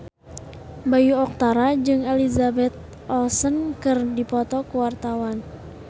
Bayu Octara jeung Elizabeth Olsen keur dipoto ku wartawan